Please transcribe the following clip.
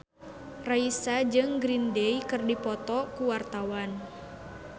Raisa jeung Green Day keur dipoto ku wartawan